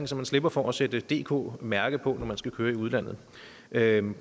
så slipper for at sætte et dk mærke på når man skal køre i udlandet det er en